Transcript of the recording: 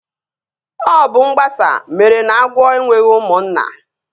Ọ bụ mgbasa mere na agwọ enweghị ụmụnna